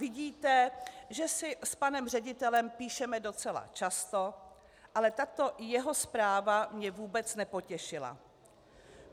Vidíte, že si s panem ředitelem píšeme docela často, ale tato jeho zpráva mě vůbec nepotěšila.